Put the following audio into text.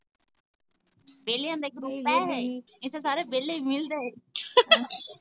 ਵੇਹਲਿਆਂ ਦਾ ਇਕ room ਇੱਥੇ ਸਾਰੇ ਵੇਹਲੇ ਈ ਮਿਲਦੇ